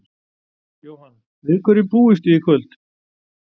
Jóhann: Við hverju búist þið í kvöld?